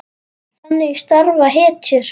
Þannig starfa hetjur!